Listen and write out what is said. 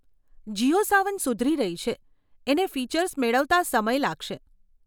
જીઓ સાવન સુધરી રહી છે, એને ફીચર્સ મેળવતા સમય લાગશે.